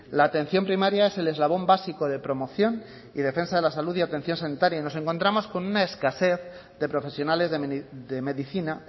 la atención primaria es el eslabón básico de promoción y defensa de la salud y atención sanitaria y nos encontramos con una escasez de profesionales de medicina